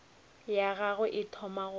ya gagwe e thoma go